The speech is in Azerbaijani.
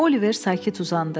Oliver sakit uzandı.